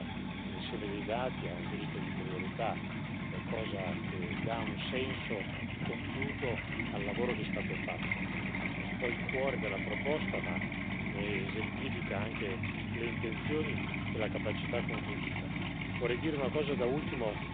di legame con l'insieme dei dati a un diritto di priorità è cosa che dà un senso compiuto al lavoro che è stato fatto, è un po' il cuore della proposta, ma ne esemplifica anche le intenzioni e la capacità conclusiva.